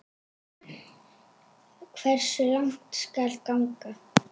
Hversu langt skal ganga?